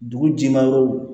Dugu jimayɔrɔw